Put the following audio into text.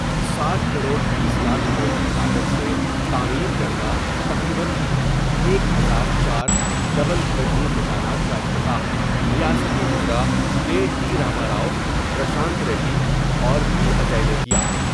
ساٹھ کروڑ بیس لاکھ روپے کی لاگت سے تعمیر کردہ تقریبا ایک ہزار چار ڈبل بیڈروم مکانات کا افتتاح ریاستی وزراء کے ٹی راما راؤ ، پرشانت ریڈی اور پی اجے نے کیا۔